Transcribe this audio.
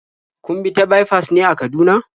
Kun bi ta baifas ne a Kaduna?